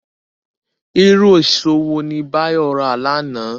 Irú èso wo ni Báyọ̀ rà lánàá?